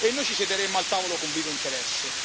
E noi ci siederemmo al tavolo con vivo interesse.